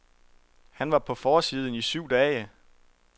Han var på forsiden i syv dage.